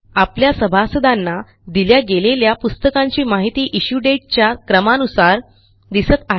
आपल्या सभासदांना दिल्या गेलेल्या पुस्तकांची माहिती इश्यू दाते च्या क्रमानुसार दिसत आहे